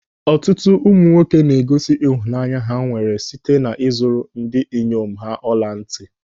Ọtụtụ ụmụ nwoke na-egosi ịhụnanya ha nwere site na ị zụrụ ndị inyom ha ọla ntị.